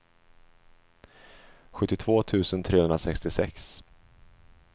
sjuttiotvå tusen trehundrasextiosex